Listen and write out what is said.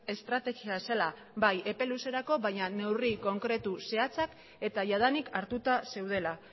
estrategia zela bai epe luzerako baina neurri konkretu zehatzak eta jadanik hartuta zeudela